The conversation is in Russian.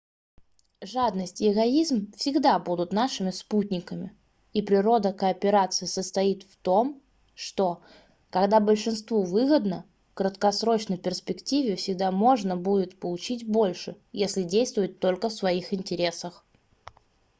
жадность и эгоизм всегда будут нашими спутниками и природа кооперации состоит в том что когда большинству выгодно в краткосрочной перспективе всегда можно будет получить больше если действовать только в своих интересах